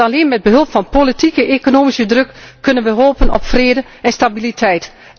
Want alleen met behulp van politieke en economische druk kunnen wij hopen op vrede en stabiliteit.